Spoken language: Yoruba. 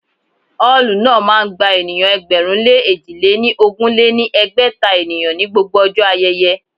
Ọ́ọ̀lù náà máa ń gba ènìyàn ẹgbẹ̀rún lé èjì lé ní ogún lé ní ẹgbẹ́ta ènìyàn ní gbogbo ọjọ́ ayẹyẹ